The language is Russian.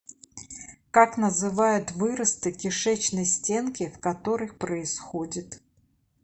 как называют выросты кишечной стенки в которых происходит